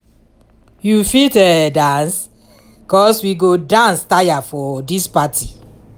you fit um dance? cos we go dance tire for dis party!